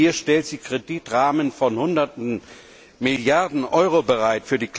Hier stellt sie Kreditrahmen von hunderten Milliarden Euro bereit.